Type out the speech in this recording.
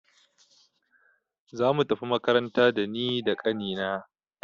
Zamu tafi makaranta da ni da ƙani na.